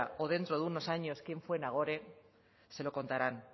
o dentro de unos años quién fue nagore se lo contarán